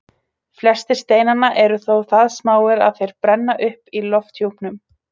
Flestir steinanna eru þó það smáir að þeir brenna upp í lofthjúpnum.